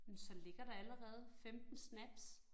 Men så ligger der allerede 15 snaps